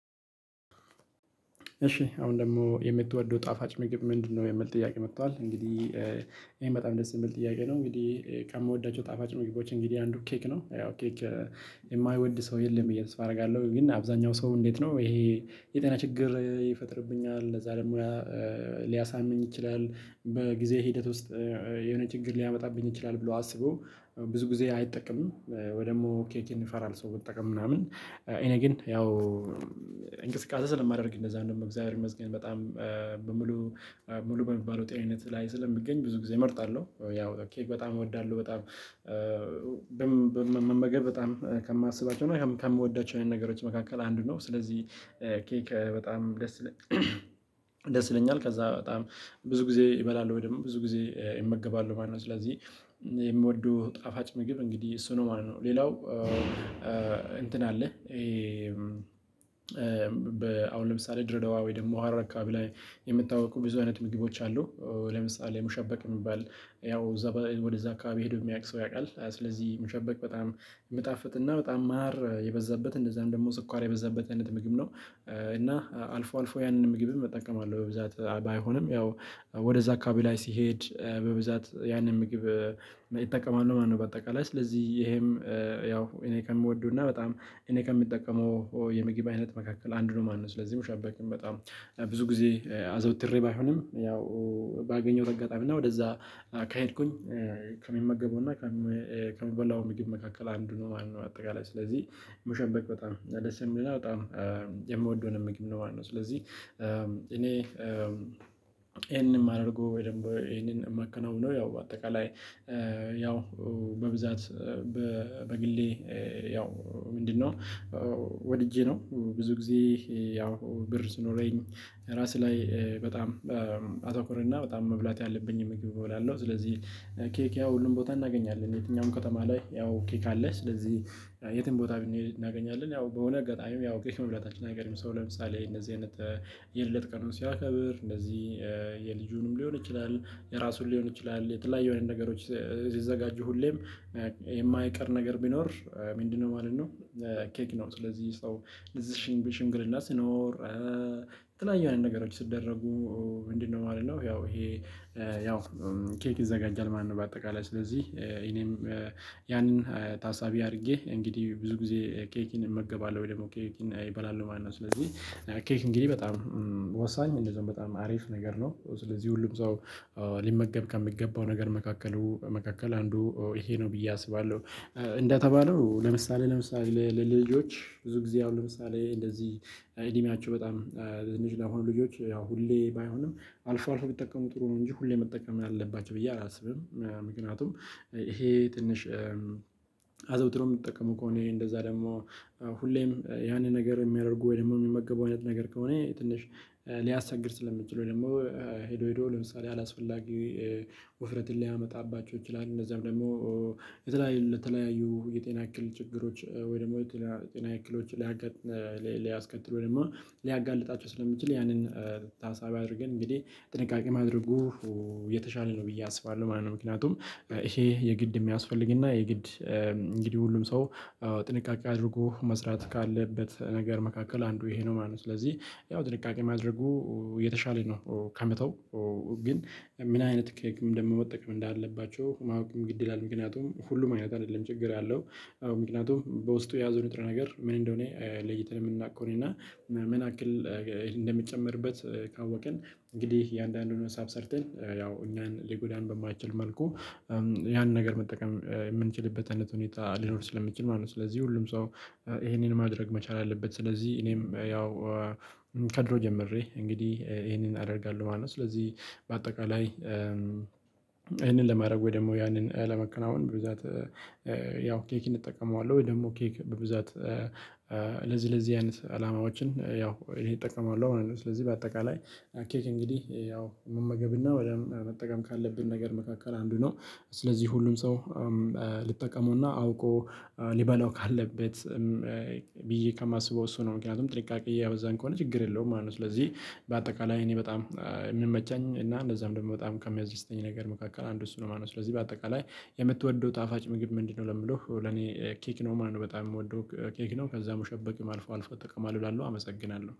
እሺ አሁን ደግሞ የምትወደው ጣፋጭ ምግብ ምንድነው? የሚል ጥያቄ መጥቷል እንግዲህ ይሄን በጣም ደስ የምል ጥያቄ ነው። እንግዲህ ከምወዳቸው ጣፋጭ ምግቦች እንግዲህ አንዱ ኬክ ነው። ያው ኬክ የማይወድ ሰው የለም ተስፋ ብዬ አደርጋለሁ። ግን አብዛኛው ሰው እንዴት ነው ይሄ የጤና ችግር ይፈጥርብኛል። እነዛ ደግሞ ሊያሳምም ይችላል። በጊዜ ሂደት ውስጥ የሆነ ችግር ሊያመጣብኝ ይችላል ብሎ አስቦ ብዙ ጊዜ አይጠቀምም። ወይ ደግሞ ኬክን ይፈራል ሰው መጠቀም ምናምን። እኔ ግን ያው እንቅስቃሴ ስለማደርግ እንደዛ ነው እግዚአብሔር ይመስገን በጣም በሙሉ ሙሉ በሚባለው ጤንነት ላይ ስለምገኝ ብዙ ጊዜ እመርጣለሁ። ያው ኬክ በጣም እወዳለሁ በጣም መመገብ በጣም ከማስባቸው እና ከምወዳቸው አይነት ነገሮች መካከል አንድ ነው። ስለዚህ ኬክ በጣም ደስ ይለኛል። ከዛ በጣም ብዙ ጊዜ እበላለሁ ወይም ብዙ ጊዜ እመገባለው ማለት ነው። ስለዚህ የምወደው ጣፋጭ ምግብ እንግዲህ እሱ ነው ማለት ነው። ሌላው እንትን አለ። አሁን ለምሳሌ ድሬደዋ ወይ ደግሞ ሀረር አከባቢ ላይ የምታውቁ ብዙ አይነት ምግቦች አሉ። ለምሳሌ ሙሸበቅ የምባል ያው እዛ ወደዛ አካባቢ ሄዶ የሚያውቅ ሰው ያቃል። ስለዚህ ሙሸበቅ በጣም ምጣፍጥና በጣም ማር የበዛበት እንደዛም ደግሞ ስኳር የበዛበት አይነት ምግብ ነው። እና አልፎ አልፎ ያንን ምግብም እጠቀማለሁ። አለው በብዛት ባይሆንም ያው ወደዛ አካባቢ ላይ ሲሄድ በብዛት ያንን ምግብ ይጠቀማሉ ማለት ነው። በአጠቃላይ ስለዚህ ይሄም ያው እኔ ከምወደውና በጣም እኔ ከምጠቀመው የምግብ አይነት መካከል አንዱ ነው ማለት ነው። ስለዚህ ሙሸበቅም በጣም ብዙ ጊዜ አዘውትሬ ባይሆንም ያው ባገኘሁት አጋጣሚ እና ወደዛ ከሄድኩኝ ከሚመገበውና ከምበላው ምግብ መካከል አንዱ ነው ማለነው። አጠቃላይ ስለዚህ መሸበክ በጣም ደስ የሚለና በጣም የምወደውን ምግብ ነው ማለት ነው። ስለዚህ እኔ ይሄንንም አድርጎ ወይ ደግሞ ይሄንን የማከናውነው ያው በአጠቃላይ ያው በብዛት በግሌ ያው ምንድነው ወድጄ ነው። ብዙ ጊዜ ያው ብር ስኖረኝ ራስ ላይ በጣም አተኩር እና በጣም መብላት ያለብኝ ምግብ እበላለሁ። ስለዚህ ኬክ ያው ሁሉን ቦታ እናገኛለን የትኛውም ከተማ ላይ ያው ኬክ አለ። ስለዚህ የትም ቦታ ብንሄድ እናገኛለን ያው በሆነ አጋጣሚ ያው ኬክ መብላታችን አይቀርም። ሰው ለምሳሌ እነዚህ አይነት የልደት ቀኑን ሲያከብር እነዚህ የልጁንም ሊሆን ይችላል የራሱን ሊሆን ይችላል። የተለያዩ ነገሮች ሲዘጋጁ ሁሌም የማይቀር ነገር ቢኖር ምንድነው? ማለት ነው ኬክ ነው። ስለዚህ ሰው እዚህ ሽምግልና ስኖር የተለያዩ አይነት ነገሮች ሲደረጉ ምንድነው ማለት ነው? ያው ይሄ ያው ኬክ ይዘጋጃል ማለት ነው። በአጠቃላይ ስለዚህ እኔም ያንን ታሳቢ አድርጌ እንግዲህ ብዙ ጊዜ ኬክን እመገባለሁ ወይ ደግሞ ኬክን እበላለው ማለት ነው። ስለዚህ ኬክ እንግዲህ በጣም ወሳኝ እንደዛው በጣም አሪፍ ነገር ነው። ስለዚህ ሁሉም ሰው ሊመገብ ከምገባው ነገር መካከሉ መካከል አንዱ ይሄ ነው ብዬ አስባለሁ። እንደተባለው ለምሳሌ ለምሳሌ ለልጆች ብዙ ጊዜ አሁን ለምሳሌ እንደዚህ እድሜያቸው በጣም ልጅ ለሆኑ ልጆች ያው ሁሌ ባይሆንም አልፎ አልፎ ቢጠቀሙ ጥሩ ነው። እንጂ ሁሌ መጠቀም አለባችሁ ብዬ አላስብም። ምክንያቱም ይሄ ትንሽ አዘውትሮ የምትጠቀመው ከሆነ ይሄ እንደዛ ደግሞ ሁሌም ያንን ነገር የሚያደርጉ ወይ ደግሞ የሚመገቡ አይነት ነገር ከሆነ ትንሽ ሊያስቸግር ስለሚችል ወይ ደግሞ ሄዶ ሄዶ ለምሳሌ አላስፈላጊ ውፍረትን ሊያመጣባቸው ይችላል። እነዛም ደግሞ የተለያዩ የጤና እክል ችግሮች ወይ ደግሞ የጤና እክሎች ላይ ሊያስከትሉ ወይም ሊያጋልጣቸው ስለሚችል ያንን ታሳቢ አድርገን እንግዲህ ጥንቃቄ ማድረጉ የተሻለ ነው ብዬ አስባለሁ። ማለት ነው። ምክንያቱም ይሄ የግድ የሚያስፈልግና የግድ እንግዲህ ሁሉም ሰው ጥንቃቄ አድርጎ መስራት ካለበት ነገር መካከል አንዱ ይሄ ነው ማለት ነው። ስለዚህ ያው ጥንቃቄ ማድረጉ የተሻለ ነው። ከመተው ግን ምን አይነት ኬክም ደሞ መጠቀም እንዳለባቸው ማወቅም ግድ ይላል። ምክንያቱም ሁሉም አይነት አይደለም። ችግር ያለው ምክንያቱም በውስጡ የያዘው ንጥረ ነገር ምን እንደሆነ? ለይተን የምናውቅ ከሆነና ምን ያክል እንደምጨመርበት ካወቅን እንግዲህ የአንዳንዱን ሀሳብ ሰርተን ያው እኛን ሊጎዳን በማይችል መልኩ ያንን ነገር መጠቀም የምንችልበት አይነት ሁኔታ ሊኖር ስለሚችል ማለት ነው። ስለዚህ ሁሉም ሰው ይሄንን ማድረግ መቻል አለበት። ስለዚህ እኔም ያው ከድሮ ጀምሬ እንግዲህ ይሄንን አደርጋለሁ ማለት ነው። ስለዚህ በአጠቃላይ ይሄንን ለማድረግ ወይ ደግሞ ያንን ለመከናወን በብዛት ያው ኬክ እንጠቀመዋለን። ወይ ደግሞ ኬክ በብዛት ለዚህ ለዚህ አይነት አላማዎችን ያው ይሄን ይጠቀማሉ። አሁን ስለዚህ በአጠቃላይ ኬክ እንግዲህ ያው መመገብና ወደ መጠቀም ካለብን ነገር መካከል አንዱ ነው። ስለዚህ ሁሉም ሰው ልጠቀመውና አውቆ ሊበላው ካለበት ብዬ ከማስበው እሱ ነው። ምክንያቱም ጥንቃቄ ያው እዛን ከሆነ ችግር የለውም ማለት ነው። ስለዚህ በአጠቃላይ እኔ በጣም የምመቸኝ እና እንደዛም ደግሞ በጣም ከሚያስደስተኝ ነገር መካከል አንዱ እሱ ነው። ማነው ስለዚህ በአጠቃላይ የምትወደው ጣፋጭ ምግብ ምንድነው? ለምለው ለኔ ኬክ ነው። ማነው በጣም የምወደው ኬክ ነው። ከዛም ሙሸበቅም አልፎ አልፎ እጠቀማለሁ እላለሁ አመሰግናለሁ